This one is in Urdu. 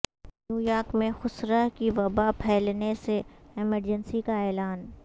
نیویارک میں خسرہ کی وبا پھیلنے سے ایمرجنسی کا اعلان